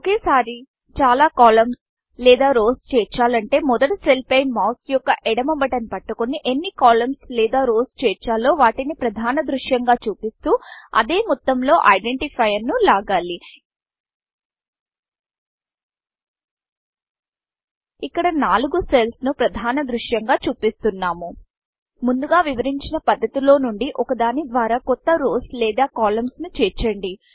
ఒకేసారి చాలా columnsకాలమ్స్ లేదా రౌస్ రోస్చేర్చాలంటే మొదటి సెల్ పై మౌస్ యొక్క ఎడమ బటన్ పట్టుకొని ఎన్ని కాలమ్న్స్ కాలమ్స్లేదా rowsరోస్ చేర్చాలో వాటిని ప్రధానదృశ్యంగా చూపిస్తూ అదే మొత్తం లో ఐడెంటిఫైయర్స్ ఐడెన్టిఫాయ్ఎరస్ను లాగాలి ఇక్కడ నలుగు సెల్ల్స్ ను ప్రధానదృశ్యంగా చూపిస్తున్నాము ముందుగ వివరించిన పద్దతిలో నుండి ఒక దాని ద్వార కొత్త రౌస్ రోస్లేదా కాలమ్న్స్ కాలమ్స్ ను చేర్చండి